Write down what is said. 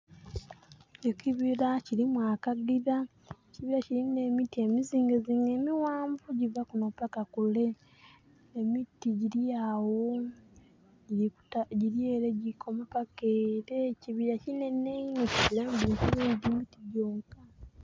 Ekibira kilimu akagira. Ekibira kilimu n'emiti emizingezinge, emighanvu gyiva kuno paka kule. Emiti gyiri awo, gyiri ele gikoma paka ele. Ekibira kinhenhe inho, kilimu ebintu bingi ti miti gyonka.